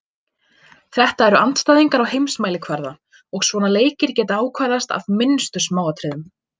Þetta eru andstæðingar á heimsmælikvarða og svona leikir geta ákvarðast af minnstu smáatriðum.